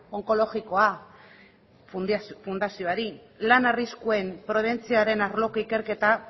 onkologikoa fundazioari lan arriskuen prebentzioaren arloko ikerketa